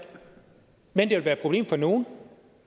men det vil være et problem for nogen